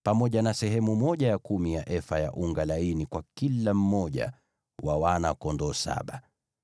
na sehemu ya kumi ya efa ya unga laini kwa kila mmoja wa wana-kondoo saba.